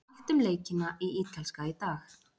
Allt um leikina í Ítalska í dag.